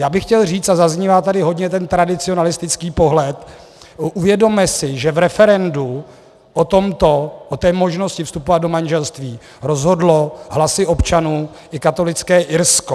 Já bych chtěl říci, a zaznívá tady hodně ten tradicionalistický pohled, uvědomme si, že v referendu o té možnosti vstupovat do manželství rozhodlo hlasy občanů i katolické Irsko.